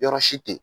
Yɔrɔ si tɛ